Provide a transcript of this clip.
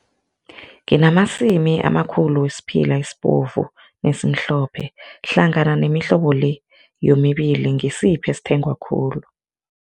Nginamasimi amakhulu wesiphila esibovu nesimhlophe hlangana nemihlobo-le le yomibili, ngisiphi esithengwa khulu?